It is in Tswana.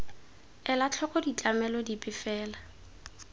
ela tlhoko ditlamelo dipe fela